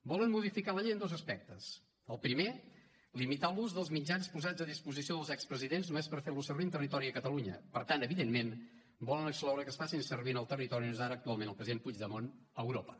volen modificar la llei en dos aspectes el primer limitar l’ús dels mitjans posats a disposició dels expresidents només per fer los servir en territori de catalunya per tant evidentment volen excloure que es faci servir en el territori on és ara actualment el president puigdemont a europa